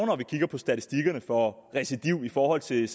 når vi kigger på statistikkerne for recidiv i forhold til